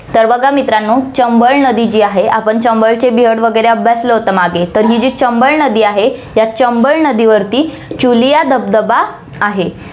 तर बघा मित्रांनो, चंबळ नदी जी आहे, आपण चंबळहचे वैगरे अभ्यासलं होतं मागे, तर ही जी चंबळ नदी आहे, त्या चंबळ नदीवरती चुलिया धबधबा आहे.